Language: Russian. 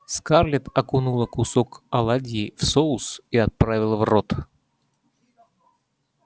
скарлетт окунула кусок оладьи в соус и отправила в рот